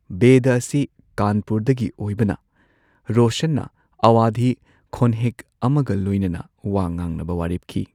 ꯕꯦꯙꯥ ꯑꯁꯤ ꯀꯥꯟꯄꯨꯔꯗꯒꯤ ꯑꯣꯏꯕꯅ ꯔꯣꯁꯟꯅ ꯑꯋꯥꯙꯤ ꯈꯣꯟꯍꯦꯛ ꯑꯃꯒ ꯂꯣꯏꯅꯅ ꯋꯥ ꯉꯥꯡꯅꯕ ꯋꯥꯔꯦꯞꯈꯤ꯫